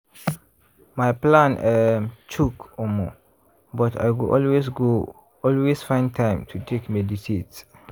my plan um choke omo!!! but i go always go always find time to take meditate.